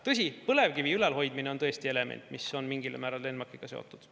Tõsi, põlevkivi ülalhoidmine on tõesti element, mis on mingil määral ENMAK-iga seotud.